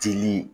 Jeli